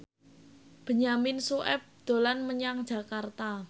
Benyamin Sueb dolan menyang Jakarta